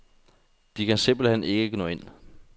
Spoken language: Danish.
De kan simpelt hen ikke nå ind.